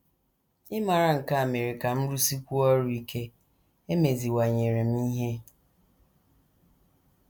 Ịmara nke a mere ka m rụsikwuo ọrụ ike, emeziwanyere m ihe. ”